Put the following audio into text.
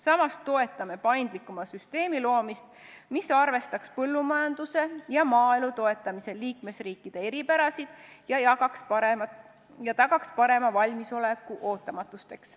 Samas toetame paindlikuma süsteemi loomist, mis arvestaks põllumajanduse ja maaelu toetamisel liikmesriikide eripärasid ja tagaks parema valmisoleku ootamatusteks.